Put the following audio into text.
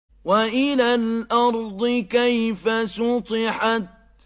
وَإِلَى الْأَرْضِ كَيْفَ سُطِحَتْ